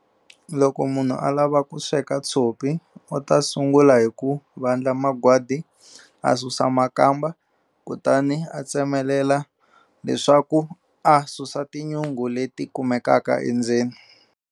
Loko munhu a lava ku sweka tshopi u ta sungula hi ku vandla magwadi a susa makamba kutani a tsemelela leswaku a susa tinyungu leti kumekaka endzeni.